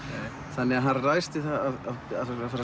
þannig að hann ræðst í að